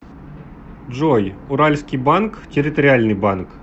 джой уральский банк территориальный банк